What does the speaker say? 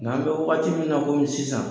Ŋa an bɛ wagati min na komi sisan